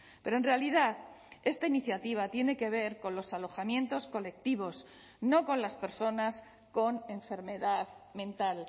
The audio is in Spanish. pero en realidad esta iniciativa tiene que ver con los alojamientos colectivos no con las personas con enfermedad mental